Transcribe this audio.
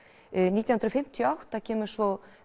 nítján hundruð fimmtíu og átta kemur svo